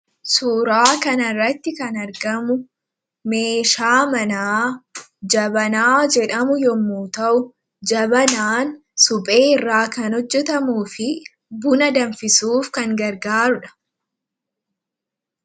suuraa kanarratti kan argamu meeshaa manaa jabanaa jedhamu yommu ta'u jabanaan suphee irraa kan hojjetamuu fi buna danfisuuf kan gargaarudha